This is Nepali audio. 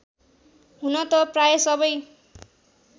हुन त प्राय सबै